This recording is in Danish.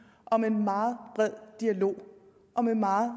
og med en meget bred dialog og med meget